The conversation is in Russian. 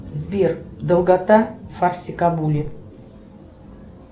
сбер долгота фарсикабуре